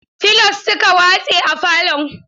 Filos suka watse a falon.